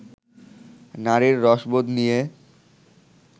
নারীর রসবোধ নিয়ে